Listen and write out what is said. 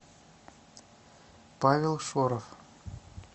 павел шорох